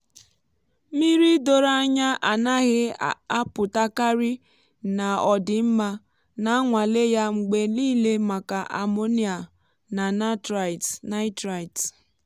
mmiri doro anya anaghị apụtakarị na ọ dị mma. na-anwale ya mgbe niile maka ammonia na nitrite.